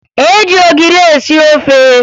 E ji ogiri esi ofe